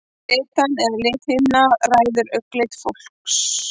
Litan eða lithimnan ræður augnlit fólks.